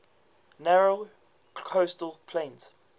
narrow coastal plain